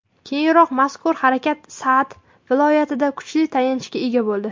Keyinroq mazkur harakat Sa’d viloyatida kuchli tayanchga ega bo‘ldi.